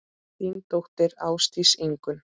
Þín dóttir, Ásdís Ingunn.